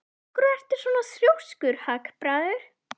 Af hverju ertu svona þrjóskur, Hagbarður?